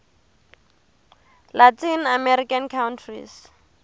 latin american countries